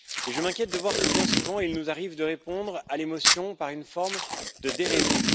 Or je m'inquiète de voir que, bien souvent, il nous arrive de répondre à l'émotion par une forme de déraison.